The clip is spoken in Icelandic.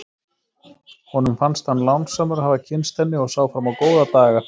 Honum fannst hann lánsamur að hafa kynnst henni og sá fram á góða daga.